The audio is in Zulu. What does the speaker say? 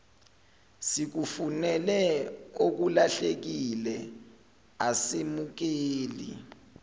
sikufunele okulahlekile asemukeli